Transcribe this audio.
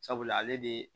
Sabula ale de